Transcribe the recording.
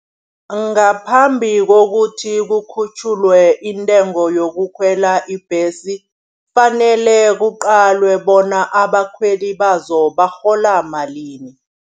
Ngaphambi kokuthi kukhutjhulwe intengo yokukhwela ibhesi. Kufanele kuqalwe bona abakhweli bazo barhola malini.